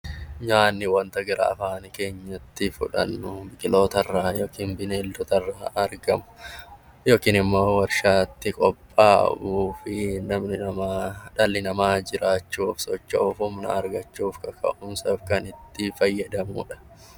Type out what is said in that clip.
Nyaanni wanta gara afaan keenyatti fudhannu biqiloota irraa yookiin bineeldota irraa argamu yookiin immoo warshaatti qophaa'uu fi dhalli namaa jiraachuufi, socho'uuf kan ittiin fayyadamuudha.